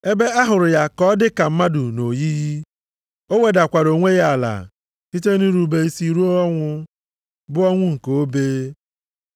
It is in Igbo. Ebe ahụrụ ya ka ọ dịka mmadụ nʼoyiyi, o wedakwara onwe ya ala, site nʼirube isi ruo ọnwụ, bụ ọnwụ nke obe.